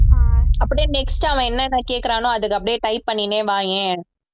அப்படியே next அவன் என்னென்ன கேட்கிறானோ அதுக்கு அப்படியே type பண்ணிட்டே வாயேன்